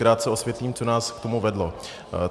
Krátce osvětlím, co nás k tomu vedlo.